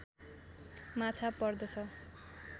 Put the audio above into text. माछा पर्दछ